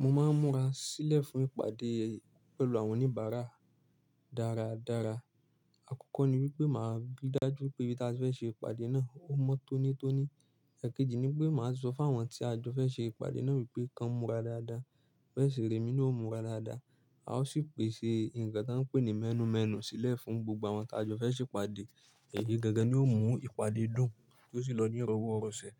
Mo máa ń múra sílẹ̀ fún ìpàdé pẹ̀lú àwọn oníbàárà dáradára. Àkọ́kọ́ ni wípé màá ri dájú wípé ibí ta ti fẹ́ ṣe ìpàdé náà, ó mọ́ tónítóní. Ẹ̀kejì ni wípé màá sọ fún àwọn tí a jọ fẹ́ ṣe ìpàdé náà wípé kan múra dáadáa, bẹ́ẹ̀ sì re emi na ó múra dáadáa. A ó sì pèsè ǹkan tan ń pè ní mẹ́nù mẹ́nù sílẹ̀ fún gbogbo àwọn ta jọ fẹ́ ṣe ìpàdé. Èyí gangan ni ó mú ìpàdé dùn yoo sì lọ ní ìrọ̀wọ́ rọ̀sẹ̀.